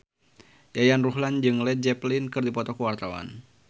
Yayan Ruhlan jeung Led Zeppelin keur dipoto ku wartawan